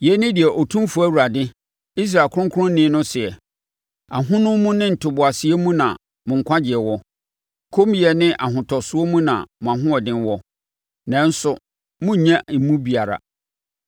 Yei ne deɛ Otumfoɔ Awurade, Israel Kronkronni no seɛ: “Ahonumu ne ntoboaseɛ mu na mo nkwagyeɛ wɔ; kommyɛ ne ahotosoɔ mu na mo ahoɔden wɔ, nanso, morennya emu biara.